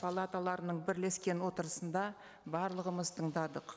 палаталарының бірлескен отырысында барлығымыз тыңдадық